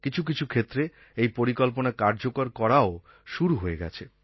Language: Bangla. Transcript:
কিছু কিছু ক্ষেত্রে এই পরিকল্পনা কার্যকর করাও শুরু হয়ে গেছে